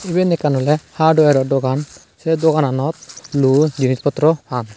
iben ekkan oley hardware o dogan sey dogananot luo jinich potro pan.